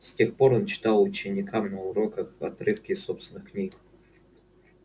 с тех пор он читал ученикам на уроках отрывки из собственных книг